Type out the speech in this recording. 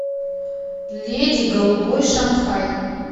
леди голубой шанхай